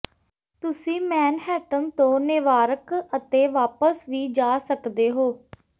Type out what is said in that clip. ਤੁਸੀਂ ਮੈਨਹੈਟਨ ਤੋਂ ਨੇਵਾਰਕ ਅਤੇ ਵਾਪਸ ਵੀ ਜਾ ਸਕਦੇ ਹੋ